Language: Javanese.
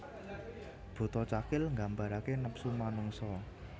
Buta Cakil nggambarake nepsu manungsa